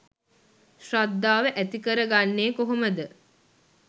ශ්‍රද්ධාව ඇති කරගන්නේ කොහොමද?